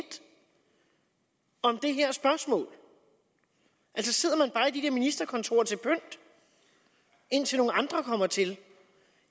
om det her spørgsmål altså sidder man bare i de der ministerkontorer til pynt indtil nogle andre kommer til